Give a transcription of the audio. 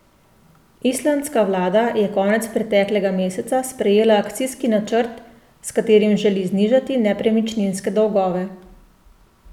Islandska vlada je konec preteklega meseca sprejela akcijski načrt, s katerim želi znižati nepremičninske dolgove.